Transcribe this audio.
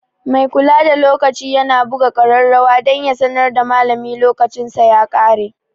Mai kula da lokaci yana buga kararrawa dan ya sanar da malami lokacinsa ya kare.